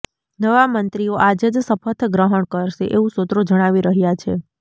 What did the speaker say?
નવા મંત્રીઓ આજે જ શપથ ગ્રહણ પણ કરશે એવું સૂત્રો જણાવી રહ્યા છે